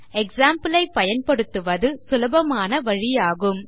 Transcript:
Example ஐப் பயன்படுத்துவது சுலபமான வழி ஆகும்